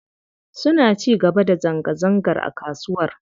Suna ci gaba da zanga-zangar a kasuwar.